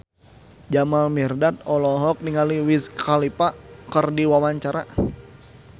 Jamal Mirdad olohok ningali Wiz Khalifa keur diwawancara